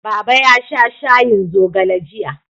Baba ya sha shayin zogale jiya.